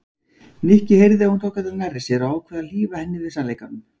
Nikki heyrði að hún tók þetta nærri sér og ákvað að hlífa henni við sannleikanum.